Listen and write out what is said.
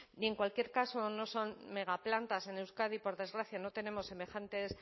en cualquier caso no son megaplantas en euskadi por desgracia no tenemos semejantes